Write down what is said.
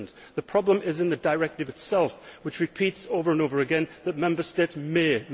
The problem is in the directive itself which repeats over and over again that Member States may''.